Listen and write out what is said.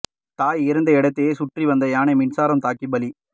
தாய் இறந்த இடத்தையே சுற்றி வந்த யானை மின்சாரம் தாக்கி பலி